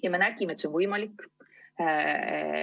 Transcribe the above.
Ja me nägime, et see on võimalik.